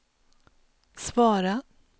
svara